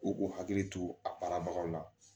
U k'u hakili to a baarabagaw la